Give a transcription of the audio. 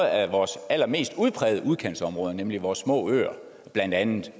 af vores allermest udprægede udkantsområder nemlig vores små øer blandt andet